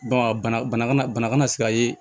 Ba bana kana se ka ye